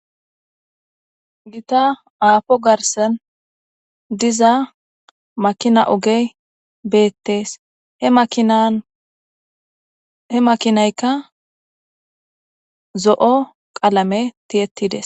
Gita aafo garssan diza makina ogey beettes. He makinan he makinaykka zo7o qalame tiyettides.